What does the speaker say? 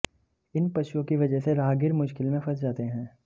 इन पशुओं की वजह से राहगीर मुश्किल में फंस जाते हैं